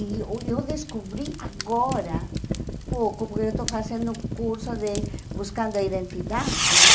E uh eu descobri agora, pouco, porque eu estou fazendo curso de buscando a identidade,